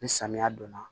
Ni samiya don na